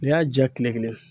N'i y'a ja kile kelen